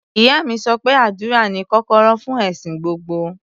Ìyá mi sọ pé àdúrà ni kọ́kọ́rọ́ fún ẹ̀sìn gbogbo.